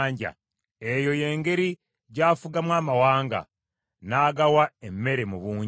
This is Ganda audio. Eyo y’engeri gy’afugamu amawanga, n’agawa emmere mu bungi.